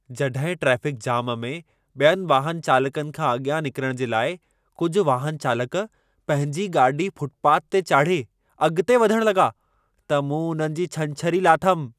जॾहिं traffic jam में ॿियनि वाहन चालकनि खां अॻियां निकरण जे लाइ कुझि वाहनचालक पंहिंजी गाॾी फ़ुटपाथ ते चाढ़े अॻिते वधण लॻा, त मूं उन्हनि जी छंछरी लाथमि।